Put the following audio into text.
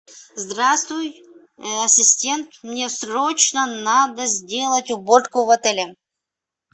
здравствуй ассистент мне срочно надо сделать уборку в отеле